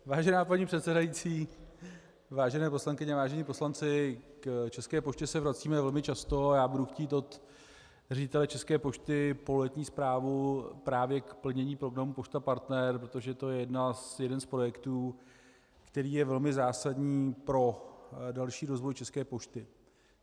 Vážená paní předsedající, vážené poslankyně, vážení poslanci, k České poště se vracíme velmi často a já budu chtít od ředitele České pošty pololetní zprávu právě k plnění programu Pošta Partner, protože to je jeden z projektů, který je velmi zásadní pro další rozvoj České pošty.